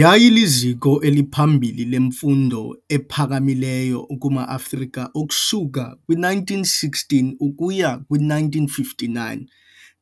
Yayiliziko eliphambili lemfundo ephakamileyo kuma-Afrika ukusuka kwi-1916 ukuya kwi-1959